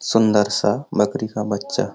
सुन्दर सा बकरी का बच्चा --